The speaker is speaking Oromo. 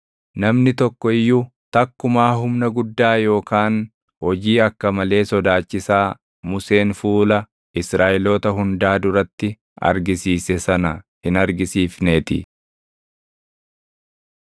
Namni tokko iyyuu takkumaa humna guddaa yookaan hojii akka malee sodaachisaa Museen fuula Israaʼeloota hundaa duratti argisiise sana hin argisiifneetii.